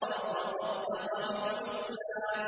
وَصَدَّقَ بِالْحُسْنَىٰ